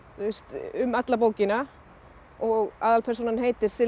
um alla bókina og aðalpersónan heitir Silva